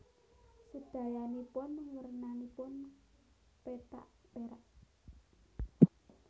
Sedayanipun wernanipun pethak perak